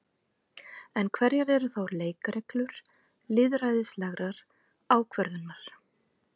En hverjar eru þá leikreglur lýðræðislegrar ákvörðunar?